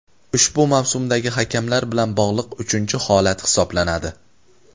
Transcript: ushbu mavsumdagi hakamlar bilan bog‘liq uchinchi holat hisoblanadi.